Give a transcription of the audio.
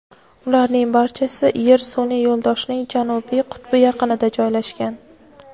ularning barchasi Yer sun’iy yo‘ldoshining janubiy qutbi yaqinida joylashgan.